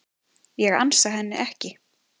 Ég ansa henni ekki.